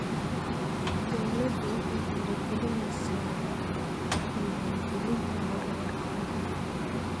Dawladdu waxay dhiirigelinaysaa diiwaangelinta hore ee carruurta.